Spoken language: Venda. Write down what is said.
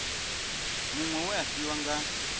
muṅwe we a fhiwa nga